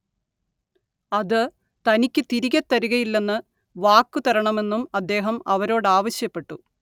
അത് തനിക്കു തിരികെ തരുകയില്ലെന്ന് വാക്കുതരണമെന്നും അദ്ദേഹം അവരോടാവശ്യപ്പെട്ടു